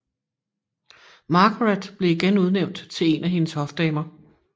Margaret blev igen udnævnt til en af hendes hofdamer